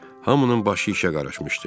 Hamının başı işə qarışmışdı.